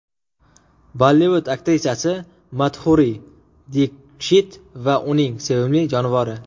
Bollivud aktrisasi Madhuri Dikshit va uning sevimli jonivori.